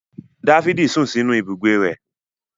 Dáfídì sún sínú ibùgbé rẹ̀